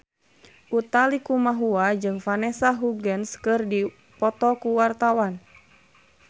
Utha Likumahua jeung Vanessa Hudgens keur dipoto ku wartawan